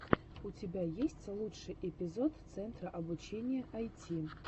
у тебя есть лучший эпизод центра обучения айти